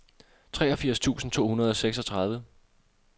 treogfirs tusind to hundrede og seksogtredive